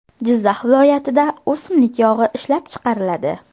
Jizzax viloyatida o‘simlik yog‘i ishlab chiqariladi.